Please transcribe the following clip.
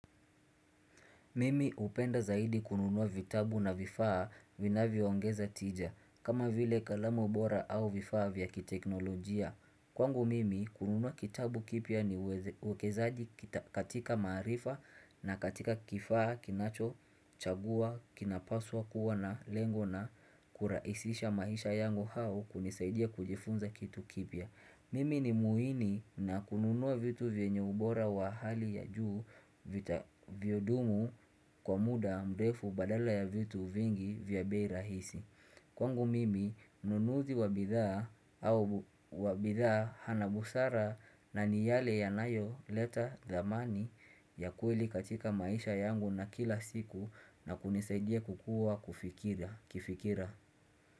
Mimi upenda zaidi kununua vitabu na vifaa vinavyoongeza tija, kama vile kalamu bora au vifaa vya kiteknolojia. Kwangu mimi kununua kitabu kipya ni wekezaji katika marifa na katika kifaa kinachochagua kinapaswa kuwa na lengo na kurahisisha maisha yangu au kunizaidia kujifunza kitu kipya. Mimi ni muhini na kununua vitu venye ubora wa hali ya juu viudumu kwa muda mrefu badala ya vitu vingi vya bei rahisi Kwangu mimi ununuzi wa bidhaa hana busara na ni yale yanayo leta dhamani ya kweli katika maisha yangu na kila siku na kunizaidia kukua kifikira.